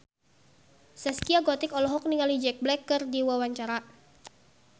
Zaskia Gotik olohok ningali Jack Black keur diwawancara